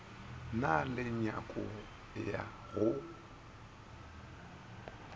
na le nyako ya go